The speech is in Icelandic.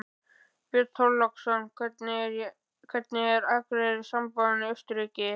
Björn Þorláksson: Hvernig er Akureyri samanborið við Austurríki?